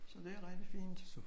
Så det er rigtigt fint